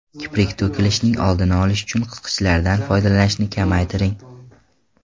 Kiprik to‘kilishining oldini olish uchun qisqichlardan foydalanishni kamaytiring.